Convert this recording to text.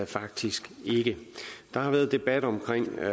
faktisk ikke der har været debat om